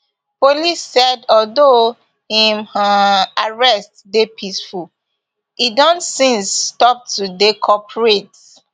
police said although im um arrest dey peaceful e don since stop to dey cooperate